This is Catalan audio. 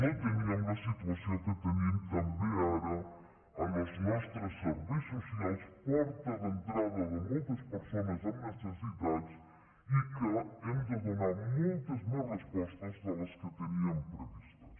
o no teníem la situació que tenim també ara en els nostres serveis socials porta d’entrada de moltes persones amb necessitats i que hem de donar moltes més respostes de les que teníem previstes